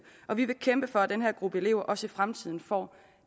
og vi vil kæmpe for at den her gruppe elever også i fremtiden får